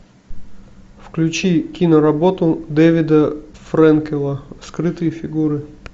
включи киноработу дэвида фрэнкела скрытые фигуры